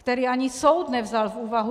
Který ani soud nevzal v úvahu.